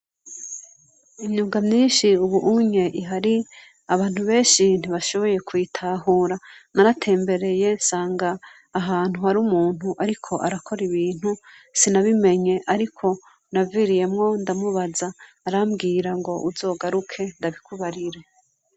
Inyuga myinshi, ubu unye ihari abantu benshi ntibashoboye kwitahura naratembereye nsanga ahantu hari umuntu, ariko arakora ibintu sinabimenye, ariko naviriyemwo ndamubaza arambwira ngo uzogaruke ndabikubarire.